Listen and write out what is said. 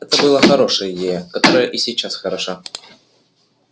это была хорошая идея которая и сейчас хороша